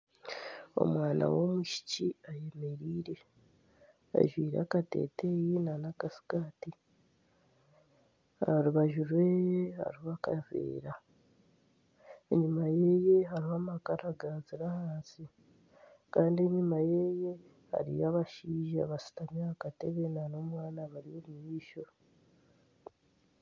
Omwana w'omwishiki ayemereire, ajwaire akateteeyi n'akasikaati. Aha rubaju rwe hariho akaveera. Enyima ye hariho amakara gaazire ahansi. Kandi enyima ye hariyo abashaija bashutami aha katebe n'omwana abari omu maisho.